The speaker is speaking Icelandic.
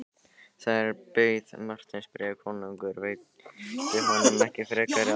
Þar beið Marteins bréf, konungur veitti honum ekki frekari áheyrn.